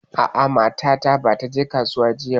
A'a mata ta bata je kasuwa ba jiya.